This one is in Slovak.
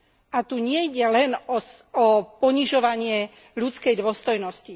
A tu nejde len o ponižovanie ľudskej dôstojnosti.